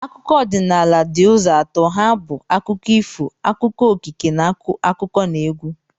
Akụkọ ọdịnala di uzo atọ ha bu akụkọ ifo, akụkọ okike, na akụkọnaegwu